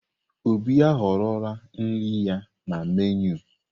Obi ahọrọla nri ya na meenụ.